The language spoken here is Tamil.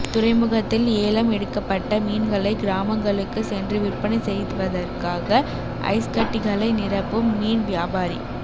துறைமுகத்தில் ஏலம் எடுக்கப்பட்ட மீன்களை கிராமங்களுக்கு சென்று விற்பனை செய்வதற்காக ஐஸ்கட்டிகளை நிரப்பும் மீன் வியாபாரி